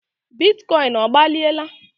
bitcoin ọgbaliela?